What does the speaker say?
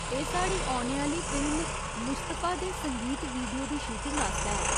एह् साढ़ी औने आह्‌ली फिल्म 'मुस्तफा' दे संगीत वीडियो दी शूटिंग आस्तै ऐ।